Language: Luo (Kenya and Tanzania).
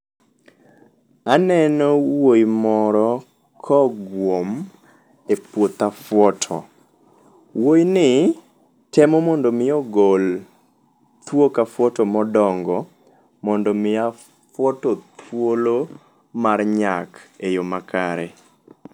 Aneno wuoi moro kogwom e puoth afwoto. Wuoi ni, temo mondo mi ogol thuok afwoto modongo mondo mi afwoto thuolo mar nyak e yoo makare.